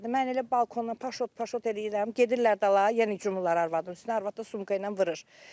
Mən elə balkondan paş-paş eləyirəm, gedirlər dala, yenə cümuırlar arvadın üstünə, arvad da sumka ilə vurur.